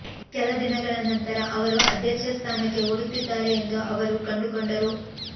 ಕೆಲ ದಿನಗಳ ನಂತರ ಅವರು ಅಧ್ಯಕ್ಷ ಸ್ಥಾನಕ್ಕೆ ಓಡುತ್ತಿದ್ದಾರೆ ಎಂದು ಅವರು ಕಂಡುಕೊಂಡರು